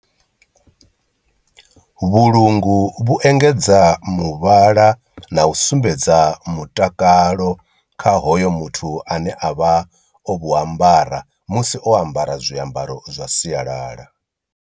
Vhulungu vhu engedza muvhala na u sumbedza mutakalo kha hoyo muthu ane avha o vhu ambara musi o ambara zwiambaro zwa sialala.